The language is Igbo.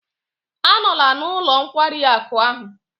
Anọla n'ụlọ nkwari akụ ahụ!